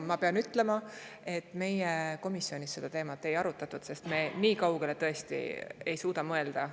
Ma pean ütlema, et komisjonis seda teemat ei arutatud, sest nii kaugele me tõesti ei suutnud mõelda.